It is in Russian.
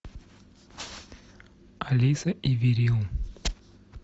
алиса и вирил